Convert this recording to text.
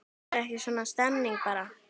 Er ekki svona stemning bara?